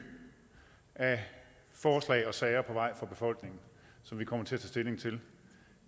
af forslag og sager på vej fra befolkningen som vi kommer til at tage stilling til